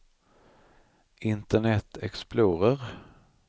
internet explorer